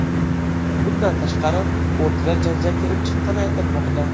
Bundan tashqari, o‘rtada janjal kelib chiqqani aytilmoqda.